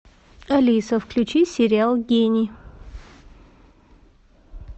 алиса включи сериал гений